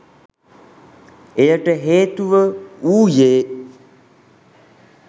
එයට හේතුව වූයේ